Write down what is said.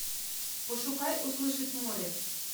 пошукай услышать море